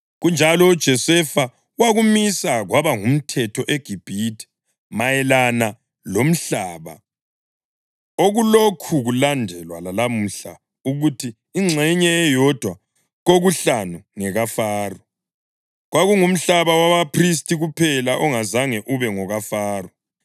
Kunjalo uJosefa wakumisa kwaba ngumthetho eGibhithe mayelana lomhlaba, okulokhu kulandelwa lalamuhla, ukuthi ingxenye eyodwa kokuhlanu ngekaFaro. Kwakungumhlaba wabaphristi kuphela ongazange ube ngokaFaro.